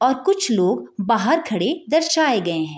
और कुछ लोग बाहर खड़े दर्शाये गए हैं |